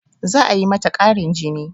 Za a yi mata ƙarin jini